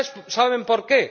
¿Saben por qué?